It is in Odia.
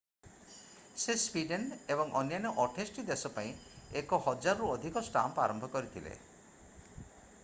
ସେ ସ୍ଵିଡେନ ଏବଂ ଅନ୍ୟାନ୍ୟ 28 ଟି ଦେଶ ପାଇଁ 1,000 ରୁ ଅଧିକ ଷ୍ଟାମ୍ପ ଆରମ୍ଭ କରିଥିଲେ